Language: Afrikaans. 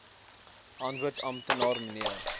antwoord amptenaar mnr